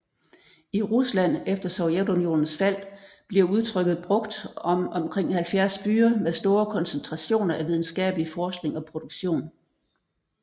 I Rusland efter Sovjetunionens fald bliver udtrykket brugt om omkring 70 byer med store koncentrationer af videnskabelig forskning og produktion